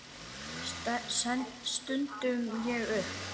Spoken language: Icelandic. stundi ég upp.